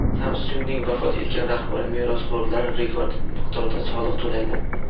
Samsung‘ning vafot etgan rahbari merosxo‘rlari rekord miqdorda soliq to‘laydi.